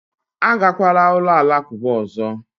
Agakwala ụlọ alakụba ọzọ!